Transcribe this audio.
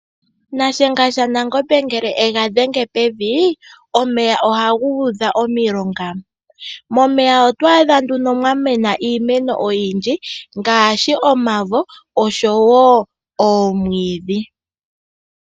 Nashenga shanangombe ngele ega dhenge pevi, omeya ohaga udha omilonga. Momeya oto adha nduno mwa mena iimeno oyindji ngaashi omavi oshowo oomwiidhi.